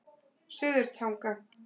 Suðurtanga